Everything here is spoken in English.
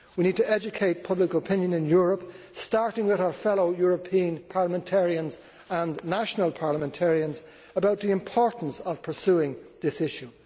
We need to educate public opinion in Europe, starting with our fellow European parliamentarians and national parliamentarians, about the importance of pursuing this issue.